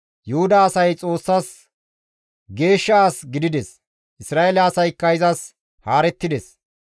Yuhuda asay Xoossas geeshsha as gidides; Isra7eele asaykka izas haarettides.